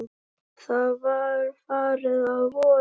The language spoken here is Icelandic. Það var farið að vora.